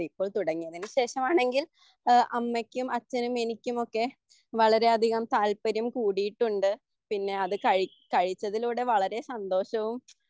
ഇപ്പോൾ തുടങ്ങിയതിനുശേഷമാണെങ്കിൽ അമ്മയ്ക്കും അച്ഛനും എനിക്കുമൊക്കെ വളരെ അധികം താല്പര്യം കൂടിയിട്ടുണ്ട് പിന്നെ അത് കഴിച്ചതിലൂടെ വളരെ സന്തോഷവും